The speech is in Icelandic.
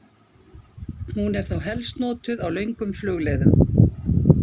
Hún er þá helst notuð á löngum flugleiðum.